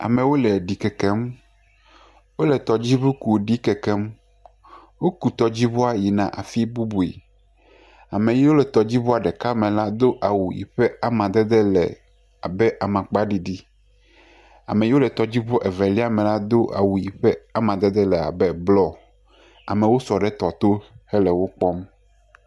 Amewo le ɖikeke ŋu. Wole tɔdziŋu ku ɖikeke ŋu. Woku tɔdziŋua yina afi bubue. Ame yiwo ke le tɔdziŋua me do awu si wo amadede le amakpa ɖiɖi. ame yike wole tɔdziŋua evelia me la do awu yike wo amadede le abe bluɔ. Amewo sɔ ɖe tɔ to hele wokpɔm.